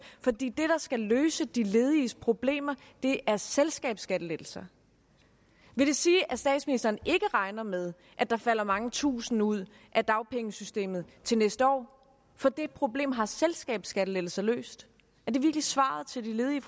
fordi det der skal løse de lediges problemer er selskabsskattelettelser vil det sige at statsministeren ikke regner med at der falder mange tusinde ud af dagpengesystemet til næste år for det problem har selskabsskattelettelser løst er det virkelig svaret til de ledige